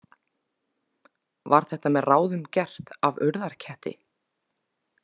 Var þetta með ráðum gert af Urðarketti?